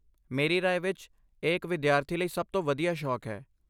ਮੇਰੀ ਰਾਏ ਵਿੱਚ ਇਹ ਇੱਕ ਵਿਦਿਆਰਥੀ ਲਈ ਸਭ ਤੋਂ ਵਧੀਆ ਸ਼ੌਕ ਹੈ।